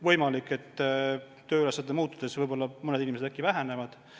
Võimalik, et tööülesannete muutudes mõned inimesed äkki koondatakse.